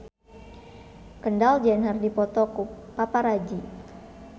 Kendall Jenner dipoto ku paparazi